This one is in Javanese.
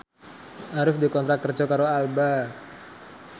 Arif dikontrak kerja karo Alba